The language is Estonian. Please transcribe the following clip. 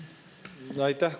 Aitäh!